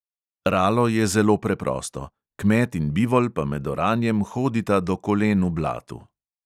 Ralo je zelo preprosto, kmet in bivol pa med oranjem hodita do kolen v blatu.